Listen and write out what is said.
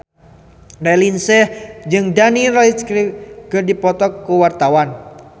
Raline Shah jeung Daniel Radcliffe keur dipoto ku wartawan